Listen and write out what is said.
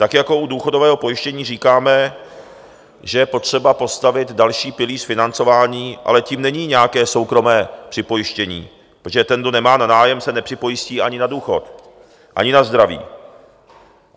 Tak jako u důchodového pojištění říkáme, že je potřeba postavit další pilíř financování, ale tím není nějaké soukromé připojištění, protože ten, kdo nemá na nájem, se nepřipojistí ani na důchod, ani na zdraví.